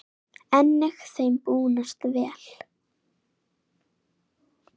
Einnig þeim búnast vel.